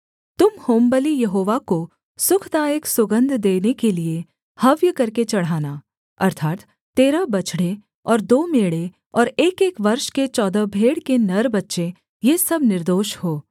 तुम होमबलि यहोवा को सुखदायक सुगन्ध देने के लिये हव्य करके चढ़ाना अर्थात् तेरह बछड़े और दो मेढ़े और एकएक वर्ष के चौदह भेड़ के नर बच्चे ये सब निर्दोष हों